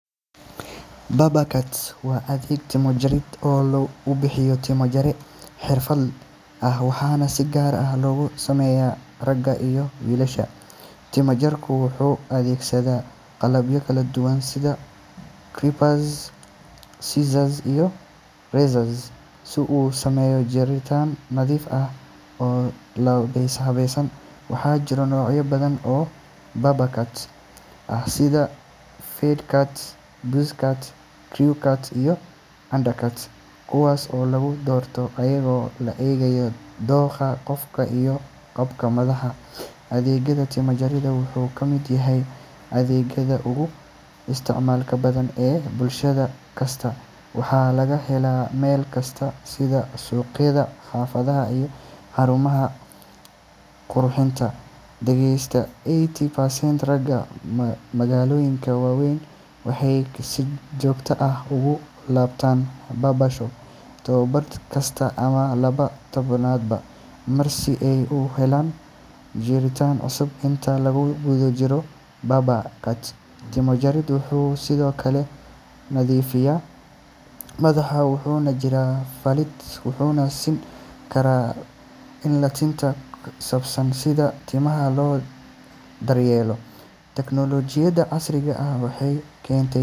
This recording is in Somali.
Barber cut waa adeeg timo jarid oo uu bixiyo timo-jare xirfadle ah, waxaana si gaar ah loogu sameeyaa ragga iyo wiilasha. Timo-jarku wuxuu adeegsadaa qalabyo kala duwan sida clippers, scissors, iyo razors si uu u sameeyo jaritaan nadiif ah oo habaysan. Waxaa jira noocyo badan oo barber cuts ah sida fade cut, buzz cut, crew cut, iyo undercut, kuwaas oo loo doorto iyadoo la eegayo dookha qofka iyo qaabka madaxa. Adeegga timo-jaridda wuxuu ka mid yahay adeegyada ugu isticmaalka badan ee bulsho kasta, waxaana laga helaa meel kasta sida suuqyada, xaafadaha, iyo xarumaha qurxinta. Qiyaastii eighty percent ragga magaalooyinka waa weyn waxay si joogto ah ugu laabtaan barber shops toddobaad kasta ama laba toddobaadba mar si ay u helaan jaritaan cusub. Inta lagu guda jiro barber cut, timo-jarku wuxuu sidoo kale nadiifiyaa madaxa, wuxuu mariyaa saliid, wuxuuna siin karaa la-talin ku saabsan sida timaha loo daryeelo. Teknoolajiyada casriga ah waxay keentay.